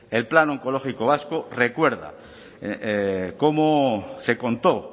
el plan oncológico vasco recuerda cómo se contó